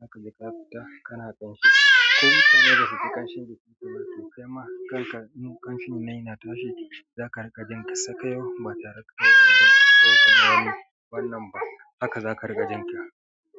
inka fita kana ƙanshi. Ko ita ma idan ba su ji ƙanshin jikin turare mafi kyau ma kanka. Inun kanshin nan yana tashi za ka rin'ka jin ka sakayau ma tarakta wani dam ko kuma wani wannan ba aka za ka rinka jin ka.